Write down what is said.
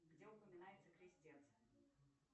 где упоминается крестец